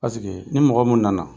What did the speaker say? Paseke ni mɔgɔ mun nana